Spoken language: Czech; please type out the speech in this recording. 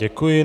Děkuji.